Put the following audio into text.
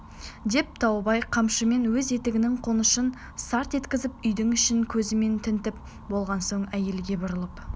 деп таубай қамшымен өз етігінің қонышын сарт еткізіп үйдің ішін көзімен тінтіп болған соң әйелге бұрылып